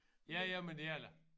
Ja ja men det er det da